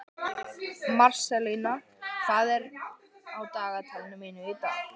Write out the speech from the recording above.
Marselína, hvað er á dagatalinu mínu í dag?